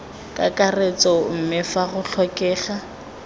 kakaretso mme fa go tlhokega